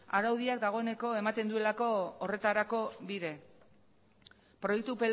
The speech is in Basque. araudiak dagoeneko ematen duelako horretarako bide proiektu